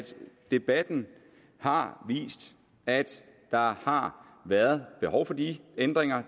debatten har vist at der har været behov for de ændringer og